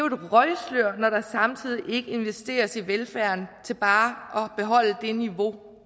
et røgslør når der samtidig ikke investeres i velfærden til bare at beholde det niveau